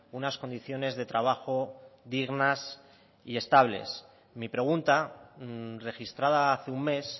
unas condiciones de trabajo dignas y estables mi pregunta registrada hace un mes